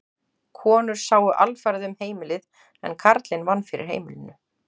Konur sáu alfarið um heimilið en karlinn vann fyrir heimilinu.